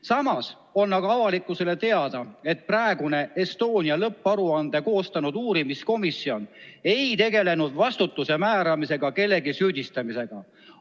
Samas on avalikkusele teada, et praegune Estonia lõpparuande koostanud uurimiskomisjon ei tegelenud vastutuse määramise ega kellegi süüdistamisega.